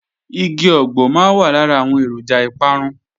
Igi ọ̀gbọ̀ máa wà lára àwọn èròjà ìparun